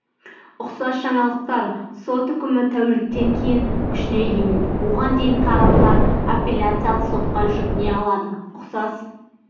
ұқсас жаңалықтар сот үкімі тәуліктен кейін күшіне енеді оған дейін тараптар апелляциялық сотқа жүгіне алады ұқсас